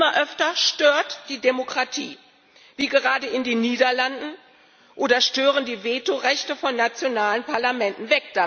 Und immer öfter stört die Demokratie wie gerade in den Niederlanden oder stören die Vetorechte von nationalen Parlamenten.